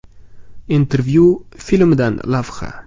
“Intervyu” filmidan lavha.